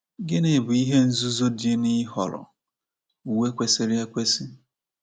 Gịnị bụ ihe nzuzo dị n’ịhọrọ uwe kwesiri ekwesị?